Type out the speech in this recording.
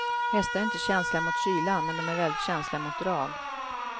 Hästar är inte känsliga mot kylan, men de är väldigt känsliga mot drag.